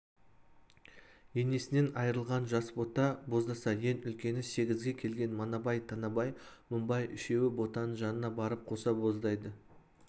енесінен айырылған жас бота боздаса ең үлкені сегізге келген манабай танабай мыңбай үшеуі ботаның жанына барып қоса боздайды